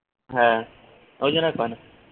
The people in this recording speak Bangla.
ওই জন্যই করেনা